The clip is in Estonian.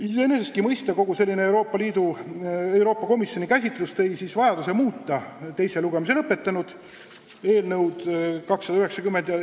Iseenesestki mõista tõi kogu selline Euroopa Komisjoni käsitlus vajaduse muuta teise lugemise juba läbinud eelnõu 290.